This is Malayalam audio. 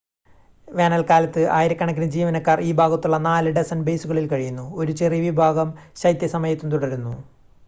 വേനൽക്കാലത്ത് ആയിരക്കണക്കിന് ജീവനക്കാർ ഈ ഭാഗത്തുള്ള നാല് ഡസൻ ബേസുകളിൽ കഴിയുന്നു ഒരു ചെറിയ വിഭാഗം ശൈത്യ സമയത്തും തുടരുന്നു